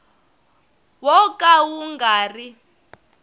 wo ka wu nga ri